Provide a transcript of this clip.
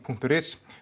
punktur is